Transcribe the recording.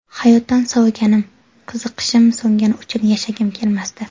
Hayotdan soviganim, qiziqishim so‘ngani uchun yashagim kelmasdi.